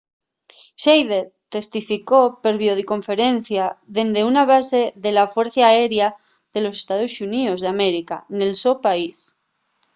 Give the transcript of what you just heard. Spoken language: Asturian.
schneider testificó per videoconferencia dende una base de la fuercia aérea de los estaos xuníos d’américa nel so país